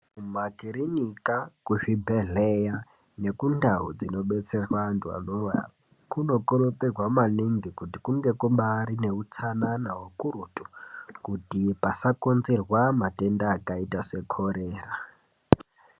Kumakiriniki, kuzvibhedhlera nekundau dzinobetserwa antu anorwara kunokurudzirwa maningi kuti kumbaaite utsanana ukurutu kuti pasakonzerwa matenda akaita seana korera.